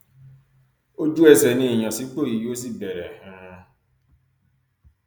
ojúẹsẹ ni ìyànsípò yìí yóò sì bẹrẹ um